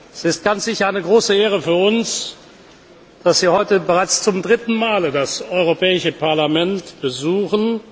Es ist ganz sicher eine große Ehre für uns, dass Sie heute bereits zum dritten Mal das Europäische Parlament besuchen.